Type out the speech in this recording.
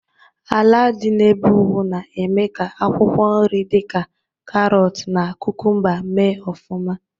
ala dị n'ebe ugwu na-eme akwụkwọ nri di ka karọt na kukumba me ofuma